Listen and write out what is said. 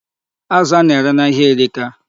Azụ a na-ere n'ahia erika.